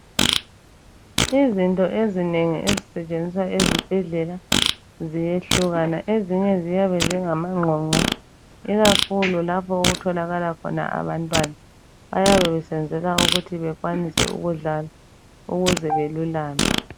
Izinto ezinengi ezisetshenziswa ezibhedlela ziyehlukana. Ezinye ziyabe zingamangqongqo, ikakhulu lapho okutholakala khona abantwana. Bayabe besenzela ukuthi bekwanise ukudlala ukuze belulame.